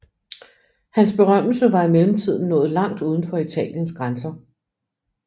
Hans berømmelse var i mellemtiden nået langt uden for Italiens grænser